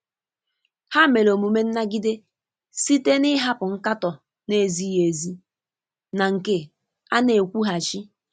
Ha mere omume nnagide site n'ịhapụ nkatọ na-ezighi ezi na nke a na-ekwughachi.